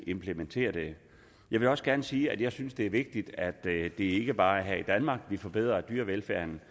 implementere det jeg vil også gerne sige at jeg synes det er vigtigt at det ikke bare er her i danmark vi forbedrer dyrevelfærden